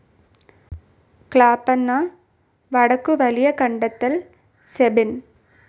ക്ലാപ്പന വടക്കു വലിയകണ്ടത്തിൽ സെബിൻ